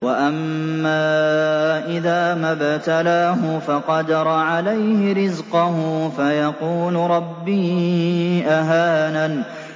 وَأَمَّا إِذَا مَا ابْتَلَاهُ فَقَدَرَ عَلَيْهِ رِزْقَهُ فَيَقُولُ رَبِّي أَهَانَنِ